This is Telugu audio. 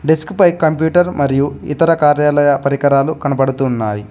డెస్క్ పై కంప్యూటర్ మరియు ఇతర కార్యాలయ పరికరాలు కనబడుతు ఉన్నాయి.